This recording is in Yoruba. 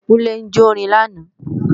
Kúnlé ń jórin lánàá